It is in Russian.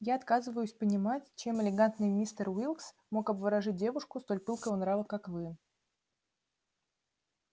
я отказываюсь понимать чем элегантный мистер уилкс мог обворожить девушку столь пылкого нрава как вы